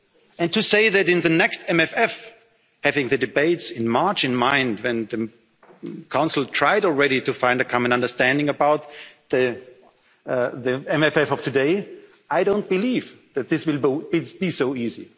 to pay it back. And to say that in the next MFF, having the debates in March in mind, when the Council tried already to find a common understanding about the MFF of today, I don't believe that this